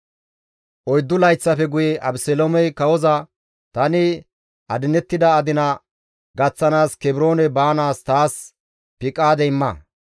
Oyddu layththafe guye Abeseloomey kawoza, «Tani adinettida adina gaththanaas Kebroone baanaas taas piqaade imma.